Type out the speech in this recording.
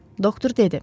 Doktor dedi.